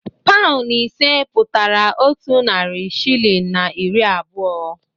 Paụnụ ise pụtara otu narị shịlịn na iri abụọ.